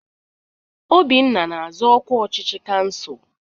Obinna na-azọ ọkwa ọchịchị kansụl.